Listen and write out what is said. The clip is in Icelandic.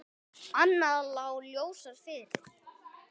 Annað lá ljósar fyrir.